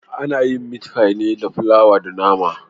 Ana yin miti fai da flawa da nama